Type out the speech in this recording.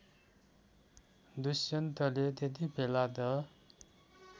दुष्यन्तले त्यतिबेला त